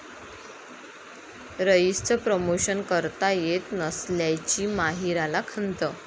रईस'चं promotion करता येत नसल्याची माहिराला खंत